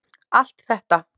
Allt þetta.